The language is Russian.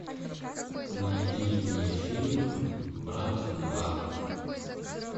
найди мне фильм брат два